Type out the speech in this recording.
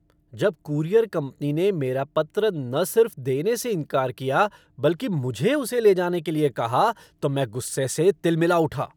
जब courier company ने मेरा पत्र न सिर्फ देने से इनकार कर दिया बल्कि मुझे उसे ले जाने के लिए कहा तो मैं गुस्से से तिलमिला उठा।